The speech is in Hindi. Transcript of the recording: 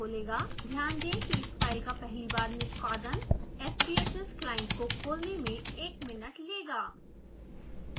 ध्यान दें कि इस फाइल का पहली बार निष्पादन sbhs client को खोलने में एक मिनट लेगा